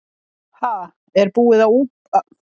Ha, er búið að búa til annan mig?